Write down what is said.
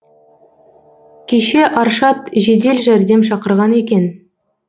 кеше аршат жедел жәрдем шақырған екен